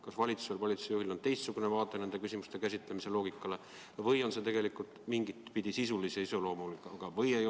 Kas valitsusel või valitsuse juhil on teistsugune arusaam nende küsimuste käsitlemise loogikast või on see tegelikult mingit pidi sisulise iseloomuga probleem?